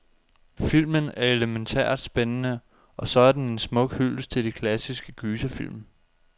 Filmen er elemæntært spændende, og så er den en smuk hyldest til de klassiske gyserfilm.